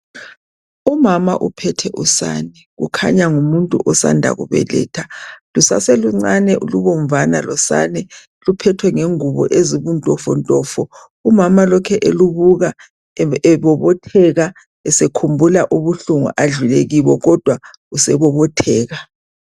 Umama uphethe usana kukhanya ngumuntu osana kubeletha lusaseluncane lubomvu luphethwe ngengubo ezibuntofonto umama lokhe elubuka ebobotheka esekhumbula ubuhlungu adlule kibo kodwa sebobotheka